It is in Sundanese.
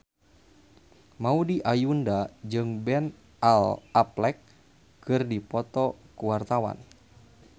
Maudy Ayunda jeung Ben Affleck keur dipoto ku wartawan